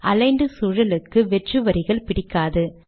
aligned சூழலுக்கு வெற்று வரிகள் பிடிக்காது